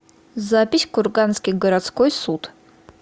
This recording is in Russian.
запись курганский городской суд